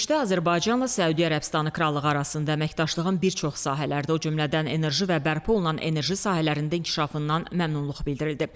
Görüşdə Azərbaycanla Səudiyyə Ərəbistanı Krallığı arasında əməkdaşlığın bir çox sahələrdə o cümlədən enerji və bərpa olunan enerji sahələrində inkişafından məmnunluq bildirildi.